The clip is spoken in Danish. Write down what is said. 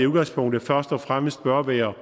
udgangspunktet først og fremmest bør være